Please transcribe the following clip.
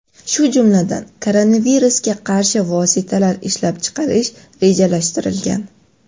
shu jumladan koronavirusga qarshi vositalar ishlab chiqarish rejalashtirilgan.